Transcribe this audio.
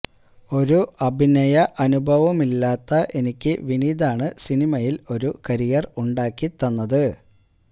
ഒരു അഭിനയഅനുഭവവുമില്ലാത്ത എനിക്ക് വിനീതാണ് സിനിമയില് ഒരു കരിയര് ഉണ്ടാക്കി തന്നത്